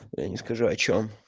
я не скажу о чём